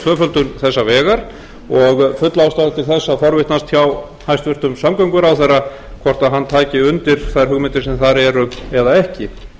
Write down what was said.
tvöföldun þessa vegar og full ástæða til þess að forvitnast hjá hæstvirtum samgönguráðherra hvort hann tæki undir þær hugmyndir sem þar eru eða ekki